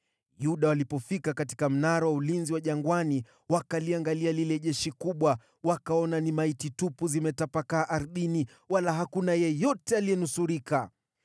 Yuda walipofika katika mnara wa ulinzi wa jangwani, wakaliangalia lile jeshi kubwa, wakaona ni maiti tupu zimetapakaa ardhini, wala hakuna yeyote aliyenusurika.